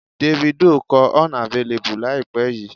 Davido kọ 'Unavailable' láìpẹ́ yìí.